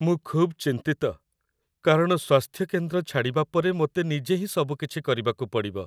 ମୁଁ ଖୁବ୍ ଚିନ୍ତିତ, କାରଣ ସ୍ୱାସ୍ଥ୍ୟକେନ୍ଦ୍ର ଛାଡ଼ିବା ପରେ ମୋତେ ନିଜେ ହିଁ ସବୁକିଛି କରିବାକୁ ପଡ଼ିବ।